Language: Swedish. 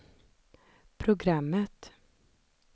programmet